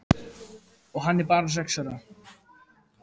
Og hann er bara sex ára.